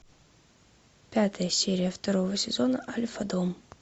пятая серия второго сезона альфа дом